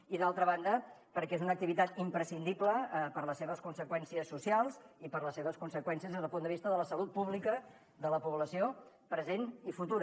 i d’altra banda perquè és una activitat imprescindible per les seves conseqüències socials i per les seves conseqüències des del punt de vista de la salut pública de la població present i futura